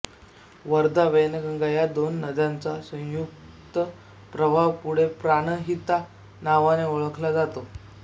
वर्धावैनगंगा या दोन नद्यांचा संयुक्त प्रवाह पुढे प्राणहिता नावाने ओळखला जातो